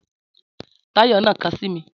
Táyọ̀ nà ka sími